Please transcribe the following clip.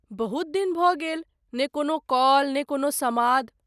बहुत दिन भऽ गेल, ने कोनो कॉल ने कोनो समाद ।